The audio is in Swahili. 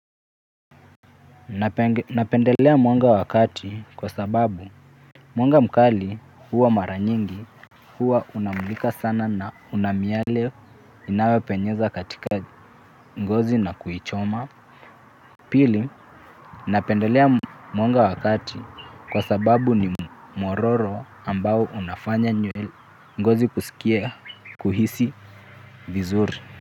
Napendelea mwanga wakati kwa sababu mwanga mkali huwa maranyingi. Huwa unamulika sana na unamiale inao penyeza katika ngozi na kuichoma. Pili napendelea mwanga wakati kwa sababu ni mororo ambao unafanya ngozi kusikia kuhisi vizuri.